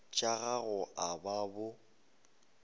tša gago a ba bo